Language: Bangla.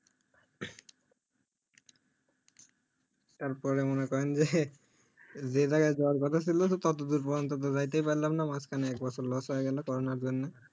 তারপরে মনে করেন যে যে জাইগাই যাওআর কথা ছিল ততদূর পর্যন্ত তো যেইতে পারলাম না মাঝখানে এক বছর loss হয়ে গেল corona এর জন্য